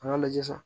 An ka lajɛ sisan